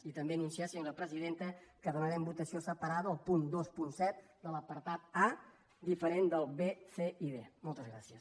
i també anunciar senyora presidenta que demanem votació separada al punt vint set de l’apartat a diferent del b c i moltes gràcies